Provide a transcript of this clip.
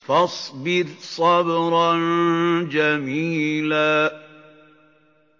فَاصْبِرْ صَبْرًا جَمِيلًا